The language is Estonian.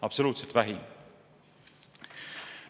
Absoluutselt vähim!